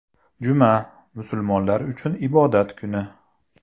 Juma, musulmonlar uchun ibodat kuni.